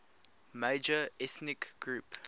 major ethnic group